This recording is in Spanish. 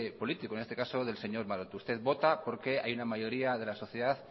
político en este caso del señor maroto usted vota porque hay una mayoría de la sociedad